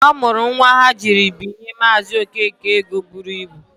Ọ mụrụ nwa ha jiri binye Maazị Okeke ego buru ibu.